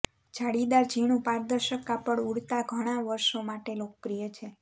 જાળીદાર ઝીણું પારદર્શક કાપડ ઉડતા ઘણા વર્ષો માટે લોકપ્રિય છે